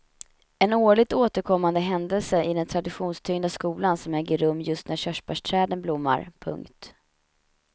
En årligt återkommande händelse i den traditionstyngda skolan som äger rum just när körsbärsträden blommar. punkt